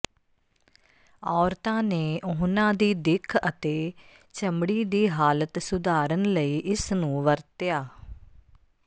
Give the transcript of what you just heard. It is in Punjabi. ਔਰਤਾਂ ਨੇ ਉਹਨਾਂ ਦੀ ਦਿੱਖ ਅਤੇ ਚਮੜੀ ਦੀ ਹਾਲਤ ਸੁਧਾਰਨ ਲਈ ਇਸ ਨੂੰ ਵਰਤਿਆ